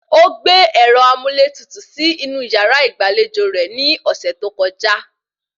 Ó gbé ẹ̀rọ amúlétutù sí inú yàrá ìgbàlejò rẹ̀ ni ọ̀sẹ̀ tó kọjá